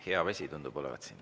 Hea vesi tundub olevat siin.